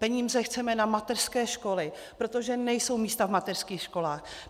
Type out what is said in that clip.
Peníze chceme na mateřské školy, protože nejsou místa v mateřských školách.